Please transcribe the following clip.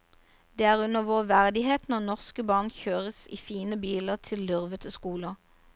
Det er under vår verdighet når norske barn kjøres i fine biler til lurvete skoler.